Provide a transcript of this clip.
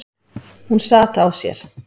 Hún sat á sér.